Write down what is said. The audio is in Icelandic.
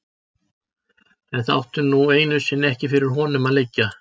En það átti nú einu sinni ekki fyrir honum að liggja.